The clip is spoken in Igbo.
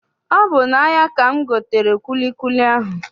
Ọ bụ n'ahia ka m gotere kwilikwili ahụ